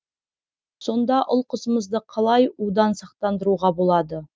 сонда ұл қызымызды қалай у дан сақтандыруға болады